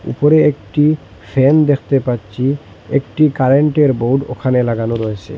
উপরে একটি ফ্যান দেখতে পাচ্চি একটি কারেন্টের বোর্ড ওখানে লাগানো রয়েসে।